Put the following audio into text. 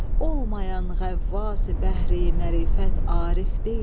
Olmayan ğəvvasi bəhri mərifət arif deyil.